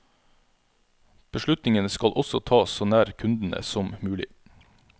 Beslutningene skal også tas så nær kundene som mulig.